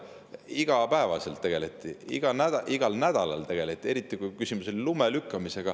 Igapäevaselt tegeleti, igal nädalal tegeleti, eriti kui küsimus oli lume lükkamises.